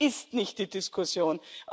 Das ist nicht die Diskussion.